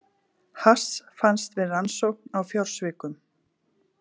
Hass fannst við rannsókn á fjársvikum